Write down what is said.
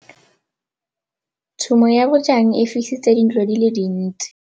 Tshumô ya bojang e fisitse dintlo di le dintsi.